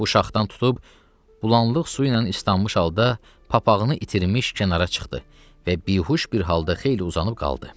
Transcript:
Bu şaxdan tutub bulanlıq suyla islanmış halda papağını itirmiş kənara çıxdı və bihuş bir halda xeyli uzanıb qaldı.